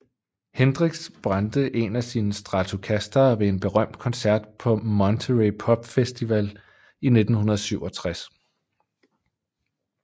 Hendrix brændte en af sine Stratocastere ved en berømt koncert på Monterey Pop Festival i 1967